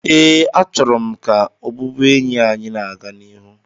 ee, achọrọ m ka ọbụbụenyi anyị na-aga n'ihu